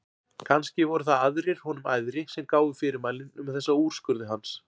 Kannski voru það aðrir honum æðri sem gáfu fyrirmælin um þessa úrskurði hans.